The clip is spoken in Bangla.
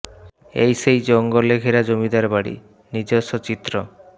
এই সেই জঙ্গলে ঘেরা জমিদারবাড়ি নিজস্ব চিত্র